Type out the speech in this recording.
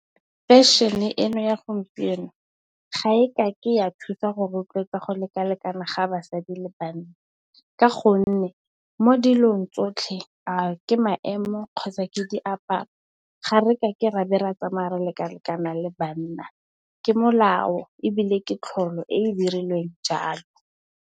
Fešene eno ya gompieno ga e ka ke ya thusa go rotloetsa go lekalekana ga basadi le banna ka gonne, mo dilong tsotlhe. A ke maemo, kgotsa ke di aparo. Ga re ka ke ra tsamaya re lekalekana le banna, ke molao ebile, ke tlholo e e dirilweng jalo.